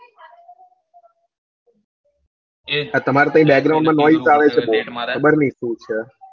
આ તમાર માં આવે છે બવ ખબર ની શું છે